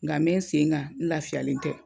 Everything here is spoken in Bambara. Nga bɛ n sen kan n lafiyalen tɛ.